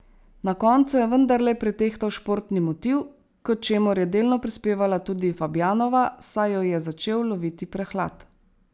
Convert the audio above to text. Na koncu je vendarle pretehtal športni motiv, k čemur je delno prispevala tudi Fabjanova, saj jo je začel loviti prehlad.